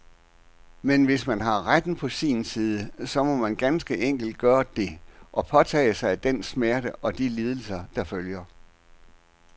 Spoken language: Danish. Men hvis man har retten på sin side, så må man ganske enkelt gøre det, og påtage sig den smerte og de lidelser, der følger.